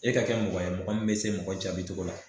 E ka kɛ mɔgɔ ye mɔgɔ min be se mɔgɔ jaabi cogo la.